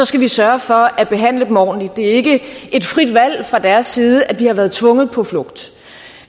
skal vi sørge for at behandle dem ordentligt det er ikke et frit valg fra deres side at de har været tvunget på flugt